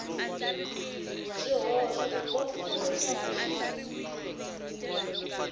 swihoxo ku kombisa leswaku xi